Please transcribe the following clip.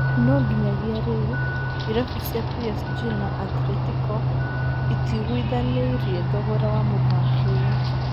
no nginyagia rĩu, irabu cia PSG na Atletīco itiiguithanĩirie thogora wa mũthaki ũyũ